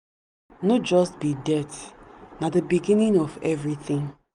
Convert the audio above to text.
no just be dirt na the beginning of everything.